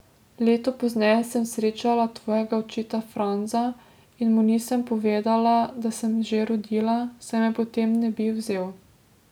Leto pozneje sem srečala tvojega očeta Franza in mu nisem povedala, da sem že rodila, saj me potem ne bi vzel.